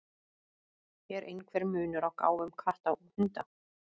Er einhver munur á gáfum katta og hunda?